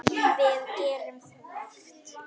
Við gerum það oft.